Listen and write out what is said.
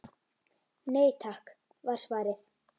Nei takk var svarið.